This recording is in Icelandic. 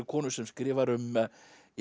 konu sem skrifar um